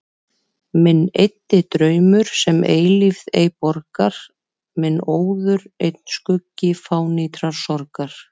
Minn eyddi draumur, sem eilífð ei borgar, minn óður einn skuggi fánýtrar sorgar.